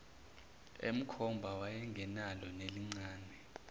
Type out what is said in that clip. emkhomba wayengenalo nelincane